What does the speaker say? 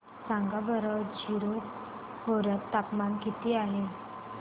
सांगा बरं जीरो खोर्यात तापमान किती आहे